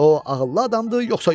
o ağıllı adamdır yoxsa yox.